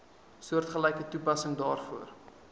soortgelyke toepassing daarvoor